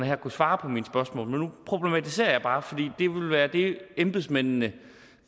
her kunne svare på mine spørgsmål men nu problematiserer jeg bare fordi det ville være det embedsmændene